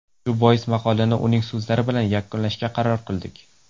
Shu bois, maqolani uning so‘zlari bilan yakunlashga qaror qildik.